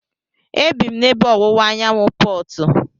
E bi m n'ebe ọwụwa anyanwụ Portu.